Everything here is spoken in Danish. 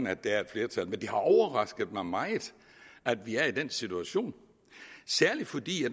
at der er et flertal men det har overrasket mig meget at vi er i den situation særlig fordi